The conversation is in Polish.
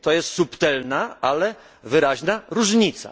To jest subtelna, ale wyraźna różnica.